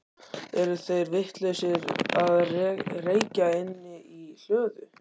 Eru þeir vitlausir að reykja inni í hlöðu?